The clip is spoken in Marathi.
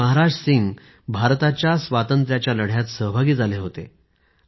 भाई महाराजजी भारताच्या स्वातंत्र्याच्या लढ्यात सहभागी झाले होते